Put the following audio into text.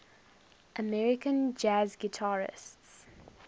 american jazz guitarists